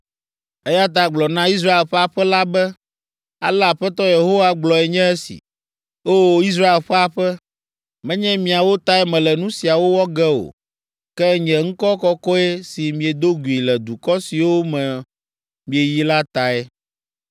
Eya ta gblɔ na Israel ƒe aƒe la be, ale Aƒetɔ Yehowa gblɔe nye esi, “O! Israel ƒe aƒe, menye miawo tae mele nu siawo wɔ ge o, ke nye ŋkɔ kɔkɔe si miedo gui le dukɔ siwo me mieyi la tae.